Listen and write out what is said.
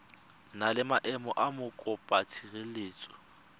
na le maemo a mokopatshireletso